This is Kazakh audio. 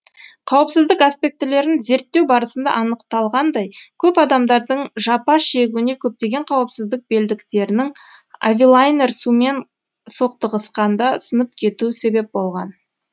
қауіпсіздік аспектілерін зерттеу барысында анықталғандай көп адамдардың жапа шегуіне көптеген қауіпсіздік белдіктерінің авилайнер сумен соқтығысқанда сынып кетуі себеп болған